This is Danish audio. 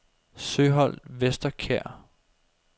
Søholt Vesterkær